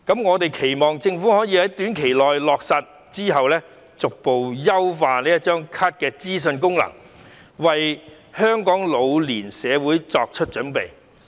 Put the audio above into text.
我們期望政府可以在短期內落實，之後再逐步優化這張卡的資訊功能，為香港老年社會作出準備。